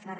bé